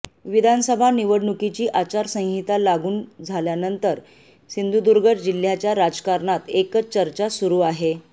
विधानसभा निवडणुकीची आचारसंहिता लागून झाल्यानंतर सिंधुदुर्ग जिल्ह्याच्या राजकारणात एकच चर्चा सुरू आहे